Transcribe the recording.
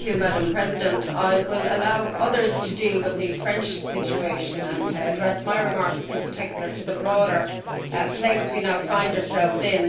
Madam President, I will allow others to deal with the French situation and will address my remarks in particular to the broader place we now find ourselves in.